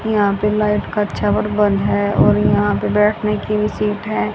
यहां पे लाइट का छाबर बंधा है और यहां पे बैठने की भी सीट है।